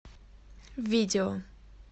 видео